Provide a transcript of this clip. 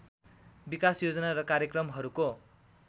विकास योजना र कार्यक्रमहरूको